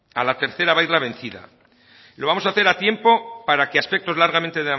a la tercera va a ir la vencida lo vamos a hacer a tiempo para que aspectos largamente